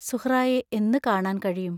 സുഹ്റായെ എന്നു കാണാൻ കഴിയും?